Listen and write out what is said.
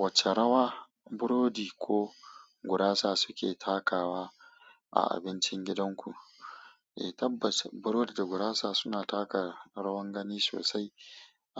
Wace rawa burodi ko gurasa suke takawa a abincin gidan ku? Eh, tabbas burodi da gurasa suna taka rawar gani sosai